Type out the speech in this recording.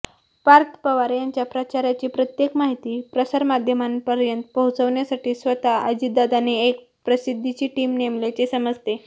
पार्थ पवार यांच्या प्रचाराची प्रत्येक माहिती प्रसारमाध्यमांपर्यंत पोचवण्यासाठी स्वतः अजितदादांनी एक प्रसिद्धीची टिम नेमल्याचे समजते